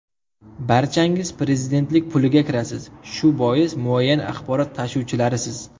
Barchangiz prezidentlik puliga kirasiz, shu bois muayyan axborot tashuvchilarisiz.